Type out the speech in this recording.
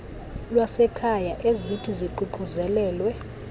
lwasekhaya ezithi ziququzelelwe